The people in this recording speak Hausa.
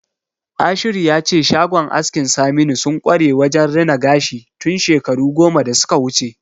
Ashiru ya ce shagon askin Saminu sun kware wajen rina gashi tun shekaru goma da suka wuce.